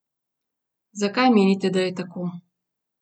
Zakaj, menite, je tako?